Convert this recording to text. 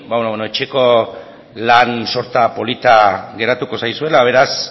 ba beno etxeko lan sorta polita geratuko zaizuela beraz